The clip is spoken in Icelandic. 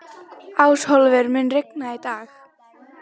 Ásólfur, mun rigna í dag?